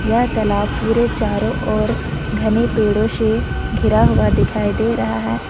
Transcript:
यह तलाब पुरे चारों ओर घने पेड़ों से घिरा हुआ दिखाई दे रहा है।